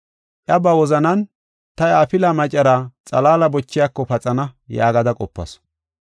Iya ba wozanan, “Ta iya afilaa macaraa xalaala bochiyako paxana” yaagada qopasu.